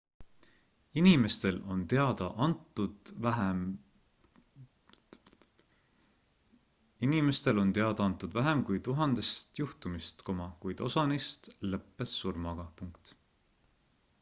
inimestel on teada antud vähem kui tuhandest juhtumist kuid osa neist lõppes surmaga